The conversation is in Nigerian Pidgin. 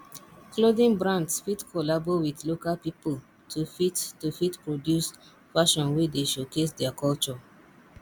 clothing brands fit collabo with local pipo to fit to fit produce fashion wey dey showcase their culture